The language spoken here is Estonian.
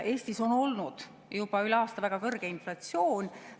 Eestis on olnud juba üle aasta väga kõrge inflatsioon.